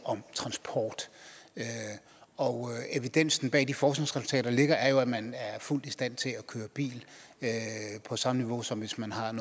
transport og evidensen bag de forskningsresultater der ligger er jo at man er fuldt i stand til at køre bil på samme niveau som hvis man har en